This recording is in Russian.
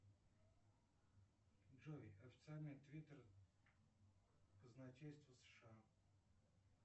джой официальный твиттер казначейства сша